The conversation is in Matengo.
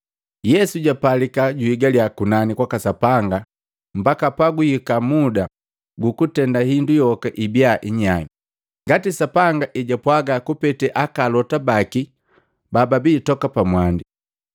Yesu jupalika juhigala kunani kwaka Sapanga mpaka pagwihika muda gukutenda indu yoka ibia inyai, ngati Sapanga ejwapwaga kupetee Akalota baki bababi toka mwandi.